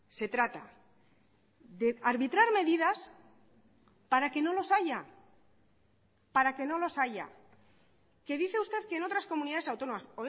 se trata de arbitrar medidas para que no los haya para que no los haya que dice usted que en otras comunidades autónomas